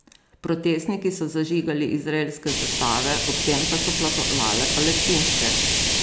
Protestniki so zažigali izraelske zastave, ob tem pa so plapolale palestinske.